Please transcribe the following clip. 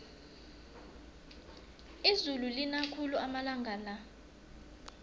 izulu lina khulu amalanga la